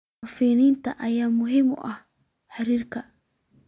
Hufnaanta ayaa aad muhiim ugu ah xiriirka.